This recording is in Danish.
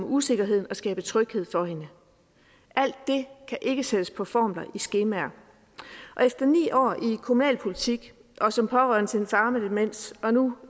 usikkerheden og skabe tryghed for hende alt det kan ikke sættes på formler i skemaer og efter ni år i kommunalpolitik og som pårørende til en far med demens og nu